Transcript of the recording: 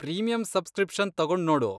Premium subscriptions ತಗೊಂಡ್ ನೋಡು.